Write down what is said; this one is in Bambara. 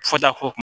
Fɔta ko